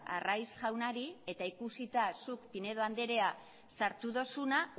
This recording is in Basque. arraiz jaunari eta ikusita zuk pinedo andrea sartu duzuna